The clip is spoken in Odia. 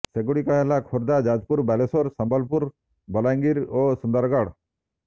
ସେଗୁଡିକ ହେଲା ଖୋର୍ଦ୍ଧା ଯାଜପୁର ବାଲେଶ୍ୱର ସମ୍ବଲପୁର ବଲାଙ୍ଗିର ଓ ସୁନ୍ଦରଗଡ